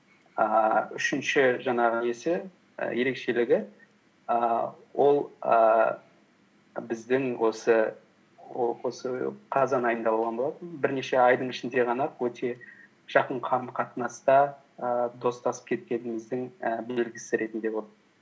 ііі үшінші жаңағы несі і ерекшелігі ііі ол ііі біздің осы қазан айында болған болатын бірнеше айдың ішінде ғана ақ өте жақын қарым қатынаста ііі достасып кеткеніміздің ііі белгісі ретінде болды